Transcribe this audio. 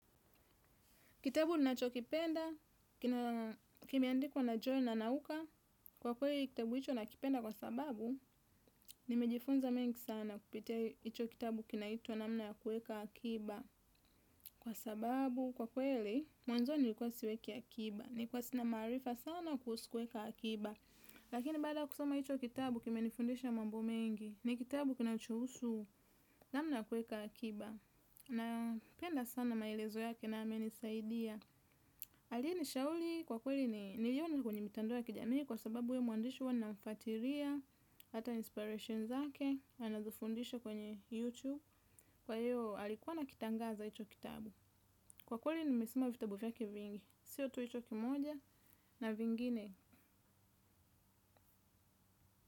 Kitabu ninachokipenda, kimeandikwa na joy nanauka, kwa kweli kitabu hicho nakipenda kwa sababu, nimejifunza mengi sana kupitia hicho kitabu kinaitwa namna ya kuweka akiba. Kwa sababu, kwa kweli, mwanzoni nilikuwa siweki akiba, nilikuwa sina maarifa sana kuhusu kueka akiba. Lakini baada kusoma hicho kitabu kimenifundisha mambo mengi, ni kitabu kinachohusu namna ya kueka akiba. Na penda sana maelezo yake na amenisaidia. Alinishauri kwa kweli ni niliona kwenye mitandao ya kijamii. Kwa sababu huyu mwandishi huwa ninamfuatilia. Hata inspirations zake anazofundisha kwenye YouTube. Kwa hiyo alikuwa ana kitangaza hicho kitabu. Kwa kweli nimesoma vitabu vyake vingi. Sio tu hicho kimoja na vingine.